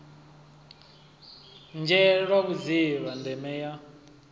nzhele lwa vhudzivha ndeme ya